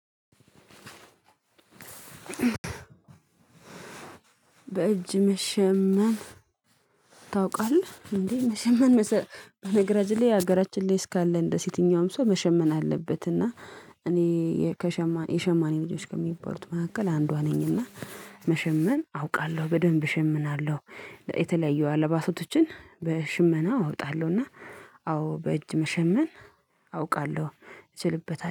በእጅ መሸመም ታውቃለህ እንዴ መሸመን በነገራችን ላይ ሀገራችን ላይ እስካለን ድረስ ሲቲኛውም ሰው መሸመን አለበት እና እኔ ከሸማነ የሸማኔ ልጆች ከሚባሉት መካከል አንዷ ነኝ እና መሸመን አውቃለሁ በደንብ እሸመናለሁ። የተለያዩ አለባሶችን በሽመና አወጣለሁና አዎ በእጅ መሸመን አውቃለሁ ይችልበታል።